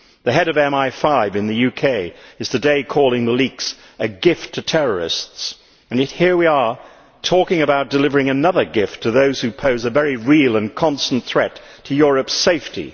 The Head of MI5 in the UK has today called the leaks a gift to terrorists', and yet here we are talking about delivering another gift to those who pose a very real and constant threat to Europe's safety.